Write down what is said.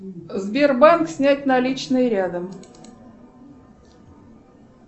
сбербанк снять наличные рядом